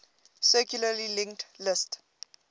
circularly linked list